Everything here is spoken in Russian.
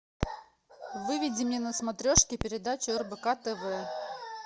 выведи мне на смотрешке передачу рбк тв